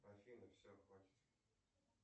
афина все хватит